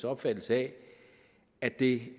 opfattelse af at det